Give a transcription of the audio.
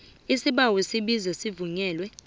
isibawo isibizo sivunyelwe